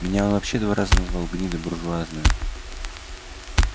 меня он вообще два раза назвал гнида бур-ржуазная